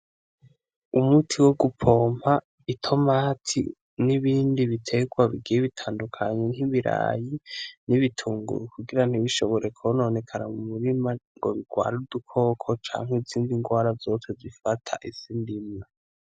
Umuti wo gupompa itomati, n'ibindi biterwa bigiye bitandukanye nk'ibiraya, n'ibitunguru kugira ntibishobore kononekara mumurima ngo bigware udukoko canke izindi ngwara zose zifata isi ndimwa.